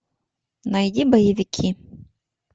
найди боевики